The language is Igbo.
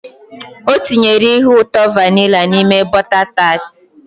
O tinyere ihe ụtọ vanilla n'ime bota taat